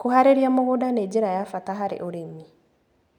Kũharĩria mũgũnda nĩ njĩra ya bata harĩ ũrĩmi.